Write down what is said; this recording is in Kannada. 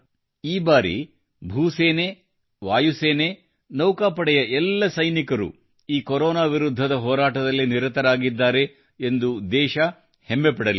ಈ ಬಾರಿ ಭೂ ಸೇನೆ ವಾಯು ಸೇನೆ ನೌಕಾಪಡೆಯ ಎಲ್ಲ ಸೈನಿಕರು ಈ ಕೊರೊನಾ ವಿರುದ್ಧದ ಹೋರಾಟದಲ್ಲಿ ನಿರತರಾಗಿದ್ದಾರೆ ಎಂದು ದೇಶ ಹೆಮ್ಮೆಪಡಲಿದೆ